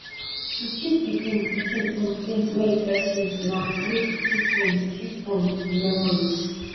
to keep di um pikin um things wey im first use na way to keep um keep um di memories